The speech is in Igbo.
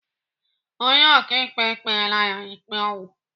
Onye ọkaikpe kpela ya ikpe ọnwụ?